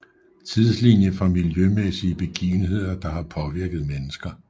Tidslinie for miljømæssige begivenheder der har påvirket mennesker